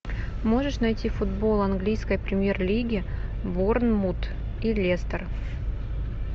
можешь найти футбол английской премьер лиги борнмут и лестер